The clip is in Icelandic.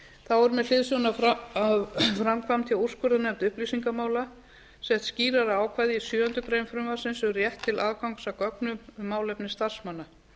þá er með hliðsjón af framkvæmd hjá úrskurðarnefnd upplýsingamála sett skýrara ákvæði í sjöundu greinar frumvarpsins um rétt til aðgangs að gögnum um málefni starfsmanna